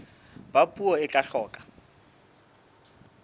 ba puo e tla hloka